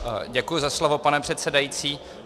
Děkuji za slovo, pane předsedající.